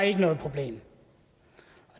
er noget problem og